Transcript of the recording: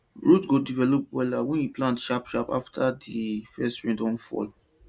root go develop wella wen you plant sharp sharp afta di first rain don fall